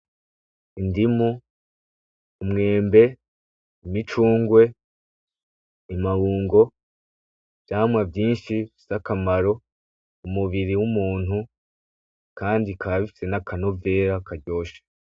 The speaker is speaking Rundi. Indimu, umwembe, imicungwe, amabungo, ivyamwa vyinshi bifise akamaro umubiri w'umuntu kandi bikaba bifise n'akanovera karyoshe.